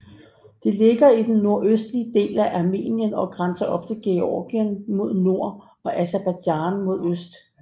Det ligger i den nordøstlige del af Armenien og grænser op til Georgien mod nord og Aserbajdsjan mod øst